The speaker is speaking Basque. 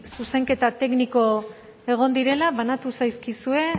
zuzenketa tekniko egon direla banatu zaizkizue